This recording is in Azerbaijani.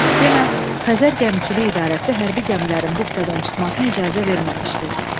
Demə, Xəzər Gəmiçilik İdarəsi hərbi gəmilərin buxtadan çıxmasına icazə verməmişdi.